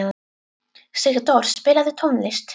Sigdór, spilaðu tónlist.